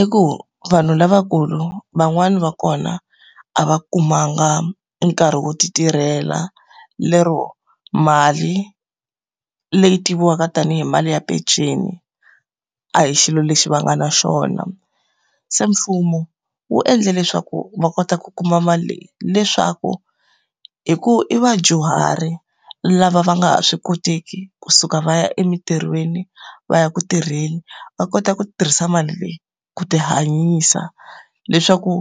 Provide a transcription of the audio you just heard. I ku vanhu lavakulu van'wani va kona a va kumanga nkarhi wo ti tirhela, lero mali leyi tiviwaka tanihi mali ya peceni, a hi xilo lexi va nga na xona. Se mfumo wu endle leswaku va kota ku kuma mali leyi, leswaku hi ku i vadyuhari lava va nga ha swi koteki kusuka va ya emintirhweni va ya ku tirheni, va kota ku tirhisa mali leyi ku ti hanyisa. Leswaku